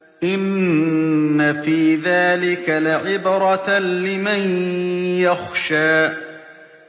إِنَّ فِي ذَٰلِكَ لَعِبْرَةً لِّمَن يَخْشَىٰ